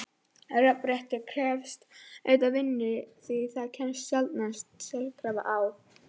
Jafnrétti krefst auðvitað vinnu því það kemst sjaldnast sjálfkrafa á.